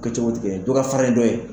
Kɛ cogotigɛ dɔ ka fari ni dɔ ye.